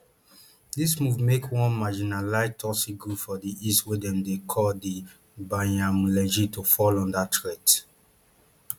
dis move make one marginalised tutsi group for di east wey dem dey call di banyamulenge to fall under threat